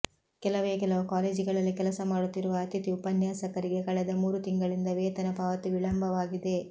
ಕೆಲವೇ ಕೆಲವು ಕಾಲೇಜುಗಳಲ್ಲಿ ಕೆಲಸ ಮಾಡುತ್ತಿರುವ ಅತಿಥಿ ಉಪನ್ಯಾಸಕರಿಗೆ ಕಳೆದ ಮೂರು ತಿಂಗಳಿಂದ ವೇತನ ಪಾವತಿ ವಿಳಂಬವಾಗಿದೆ